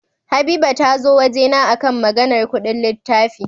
Habiba tazo wajena akan Maganar Ƙudin littafi